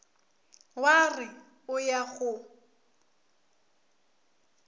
wa re o ya go